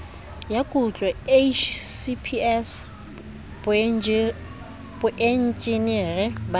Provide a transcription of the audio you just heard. ya kutlo hcps boenjinere ba